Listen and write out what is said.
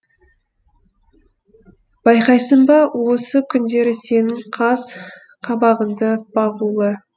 байқайсың ба осы күндері сенің қас қабағыңды бағулы